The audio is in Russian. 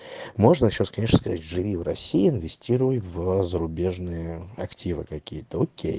можно сейчас конечно сказать живи в россии инвестируй в зарубежные активы какие-то окей